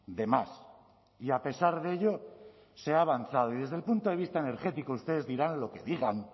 de más y a pesar de ello se ha avanzado y desde el punto de vista energético ustedes dirán lo que digan